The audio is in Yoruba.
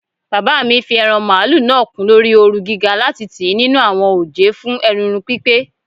Baba mi fi eran malu naa kun lori ooru giga lati tii ninu awọn oje fun erunrun pipe